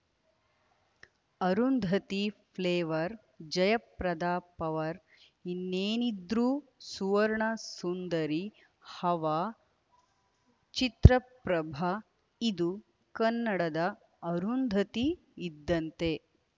Arundhati flavour Jayaprada power ಇನ್ನೇನಿದ್ರೂ ಸುವರ್ಣ ಸುಂದರಿ ಹವಾ ಚಿತ್ರಪ್ರಭ ಇದು ಕನ್ನಡದ ಅರುಂಧತಿ ಇದ್ದಂತೆ